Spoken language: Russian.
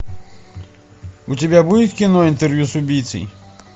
у тебя будет кино интервью с убийцей